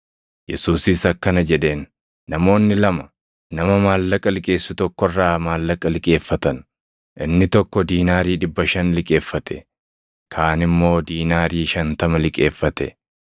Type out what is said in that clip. Yesuusis akkana jedheen; “Namoonni lama nama maallaqa liqeessu tokko irraa maallaqa liqeeffatan. Inni tokko diinaarii dhibba shan liqeeffate; kaan immoo diinaarii shantama liqeeffate.